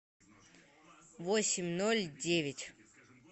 восемь ноль девять